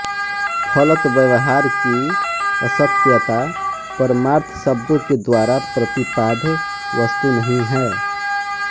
फलत व्यवहार की असत्यता परमार्थ शब्दों के द्वारा प्रतिपाद्य वस्तु नहीं है